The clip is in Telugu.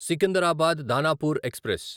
సికిందరాబాద్ దానాపూర్ ఎక్స్ప్రెస్